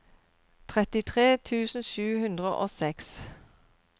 trettitre tusen sju hundre og seks